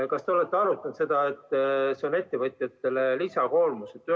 Kas te olete arutanud seda, et see on ettevõtjatele lisakoormus?